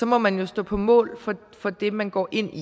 må man jo stå på mål for det man går ind i